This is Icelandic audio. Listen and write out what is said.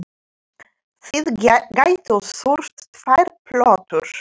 Þið gætuð þurft tvær plötur.